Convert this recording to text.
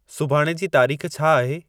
सुभाण जी तारीख़ छा आहे